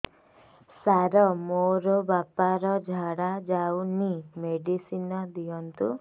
ସାର ମୋର ବାପା ର ଝାଡା ଯାଉନି ମେଡିସିନ ଦିଅନ୍ତୁ